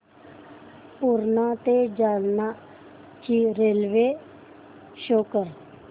पूर्णा ते जालना ची रेल्वे शो कर